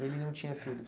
Ele não tinha filhos?